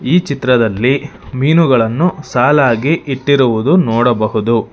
ಈ ಚಿತ್ರದಲ್ಲಿ ಮೀನುಗಳನ್ನು ಸಾಲಾಗಿ ಇಟ್ಟಿರುವುದು ನೋಡಬಹುದು.